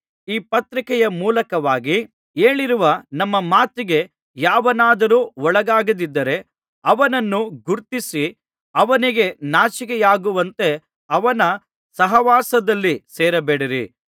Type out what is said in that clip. ಈ ಪತ್ರಿಕೆಯ ಮೂಲಕವಾಗಿ ಹೇಳಿರುವ ನಮ್ಮ ಮಾತಿಗೆ ಯಾವನಾದರೂ ಒಳಗಾಗದಿದ್ದರೆ ಅವನನ್ನು ಗುರುತಿಸಿ ಅವನಿಗೆ ನಾಚಿಕೆಯಾಗುವಂತೆ ಅವನ ಸಹವಾಸದಲ್ಲಿ ಸೇರಬೇಡಿರಿ